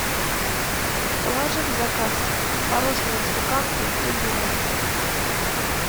положи в заказ творожной запеканки с изюмом